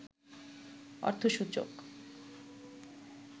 অর্থসূচক